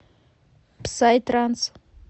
псай транс